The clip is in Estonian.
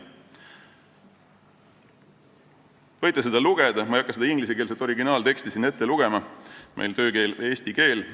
Te võite seda lugeda, ma ei hakka ingliskeelset originaalteksti siin ette lugema, meie töökeel on eesti keel.